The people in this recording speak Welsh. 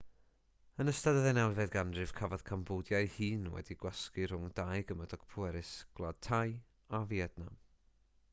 yn ystod y ddeunawfed ganrif cafodd cambodia ei hun wedi'i gwasgu rhwng dau gymydog pwerus gwlad thai a fietnam